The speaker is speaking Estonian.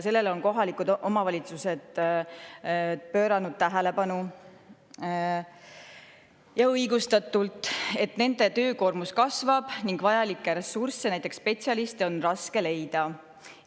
Kohalikud omavalitsused on tähelepanu sellele, ja õigustatult, et nende töökoormus kasvab ning vajalikke ressursse, näiteks spetsialiste, on raske leida.